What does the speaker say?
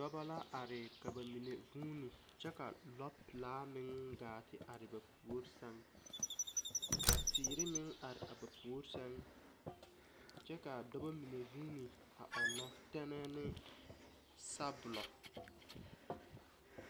Dɔba la are ka ba mine vooni kyɛ ka lɔ pilaa meŋ gaa te are ba pouri sɛŋ ka teere meŋ are ba puori sɛŋ kyɛ kaa fɔba mine voone ɔgnɔ teɛnɛɛ ne sabolɔ.